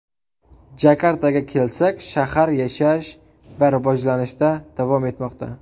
Jakartaga kelsak, shahar yashash va rivojlanishda davom etmoqda.